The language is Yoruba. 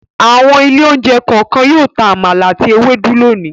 Àwọn ilé-oúnjẹ kọ̀ọ̀kan yóò ta àmàlà àti ewédú lónìí.